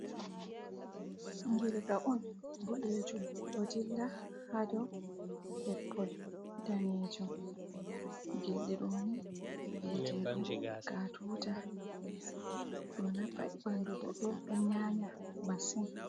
Ngirga on ɓodejum ɗo dilla ha dou leppol danejum, gilɗi ɗo ni vi'eteɗum katota, gilɗe ɗoni ɗo nafai ɓandu goɗɗo ɗon nya nya masiin.